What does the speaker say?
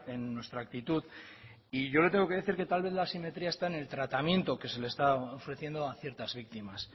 en nuestra actitud y yo le tengo que decir que tal vez la asimetría está en el tratamiento que se le está ofreciendo a ciertas victimas